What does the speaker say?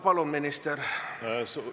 Palun, minister!